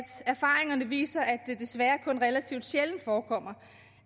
erfaringerne viser at det desværre kun relativt sjældent forekommer